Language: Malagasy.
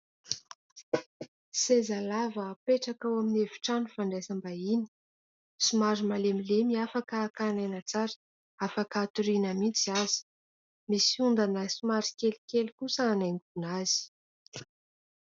seza lava mipetraka ao amin'ny efitrano fandraisam-bahiny somary malemilemy afaka hakan'aina tsara afaka hatoriana mitsy aza misy ondana somary kelikely kosa anaingona azy